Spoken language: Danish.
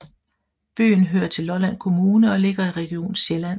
Byen hører til Lolland Kommune og ligger i Region Sjælland